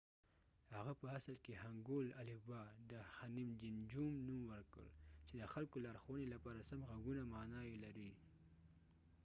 هغه په اصل کې هنګول الفبا د هنیمجینجوم نوم ورکړ چې د خلکو لارښوونې لپاره سم غږونه معنی یې لري